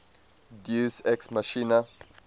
deus ex machina